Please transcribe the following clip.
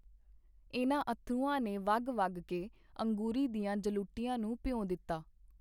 ਇਹਨਾ ਅੱਥਰੂਆਂ ਨੇ ਵਗ ਵਗ ਕੇ ਅੰਗੂਰੀ ਦੀਆਂ ਜਲੂਟੀਆਂ ਨੂੰ ਭਿਉਂ ਦਿੱਤਾ.